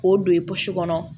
K'o don i kɔnɔ